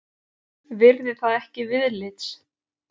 Virði það ekki viðlits.